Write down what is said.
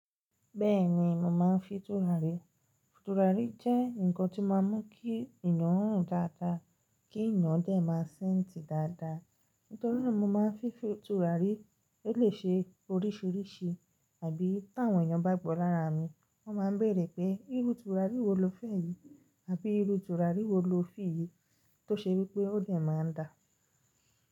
Bẹ́ẹ̀ni mò máa ń fi tùràrí. Tùràrí jẹ́ ǹkan tí máa ń mú kí ènìyàn rùn dáadáa, kí ènìyàn dé máa ṣẹ́ntì dáadáa. Nítorí náà mo máa ń fi tùràrí, ó lè ṣe oríṣìíríṣìí àbí tí àwọn ènìyàn bá gbò lára mi, wọ́n máa ń bèèrè pé irú tùràrí wo lo fẹ́ yìí? Àbí irú tùràrí wo lo fì yìí tó ṣe wípé ó lè máa n dà?